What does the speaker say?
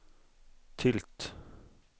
tilt